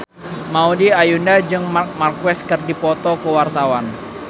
Maudy Ayunda jeung Marc Marquez keur dipoto ku wartawan